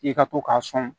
I ka to k'a sɔn